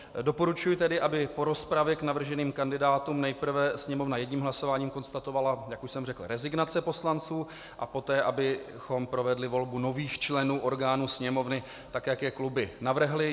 Doporučuji tedy, aby po rozpravě k navrženým kandidátům nejprve Sněmovna jedním hlasováním konstatovala, jak už jsem řekl, rezignace poslanců a poté abychom provedli volbu nových členů orgánů Sněmovny, tak jak je kluby navrhly.